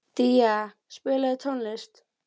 Día, spilaðu tónlist.